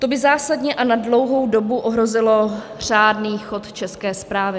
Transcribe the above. To by zásadně a na dlouhou dobu ohrozilo řádný chod České správy...